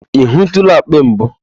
Ị hụtụla akpị mbụ?